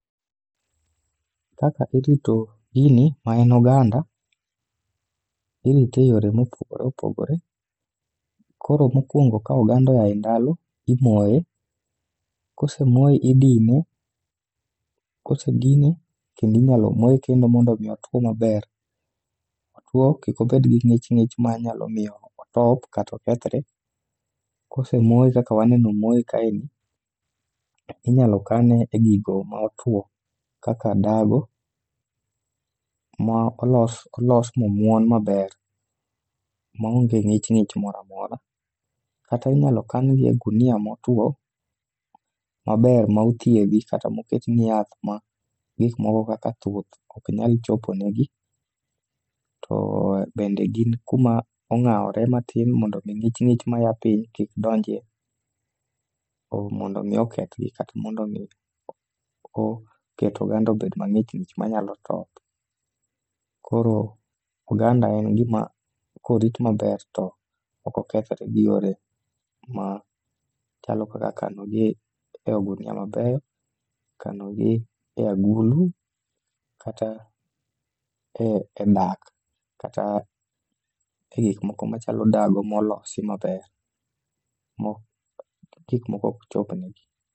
Kaka irito gini maen oganda, irite e yore mopogore opogore. Koro mokwongo ka oganda oya e ndalo, imoye, kosemoye idine. Kose dine kendi nyalo moye kendo mondo mi otwo maber, otwo kik obed gi ng'ich ng'ich ma nyalo miyo otop katokethre. Kosemoye kaka waneno omoye kaeni, inyalo kane e gigo motwo kaka dago, ma olos olos momuon maber maonge ng'ich ng'ich moramora. Kata inyal kan gi e gunia motwo maber ma othiedhi kata moketni yath ma gik moko kaka thuth ok nyal choponegi. To bende gin kuma ong'awore matin mondo ng'ich ng'ich maya piny kik donjie mondo mi okethgi kata mondo mi o ket oganda obed mang'ich ng'ich manyalo top. Koro oganda en gima korit maber to okokethre gi yore ma chalo kaka kanogi e ogunia mabeyo, kanogi e agulu kata e dak. Kata e gik moko machalo dago molosi maber, mo gikmoko ok chopnegi.